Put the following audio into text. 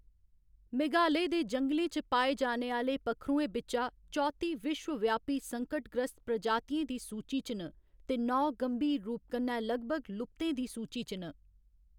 मेघालय दे जंगलें च पाए जाने आह्‌‌‌ले पक्खरुएं बिच्चा चौत्ती विश्वव्यापी संकटग्रस्त प्रजातियें दी सूची च न ते नौ गंभीर रूप कन्नै लगभग लुप्तें दी सूची च न।